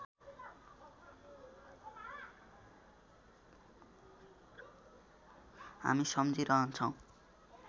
हामी सम्झिरहन्छौँ